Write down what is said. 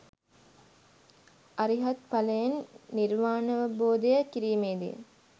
අරිහත් ඵලයෙන් නිර්වාණාවබෝධය කිරීමේදී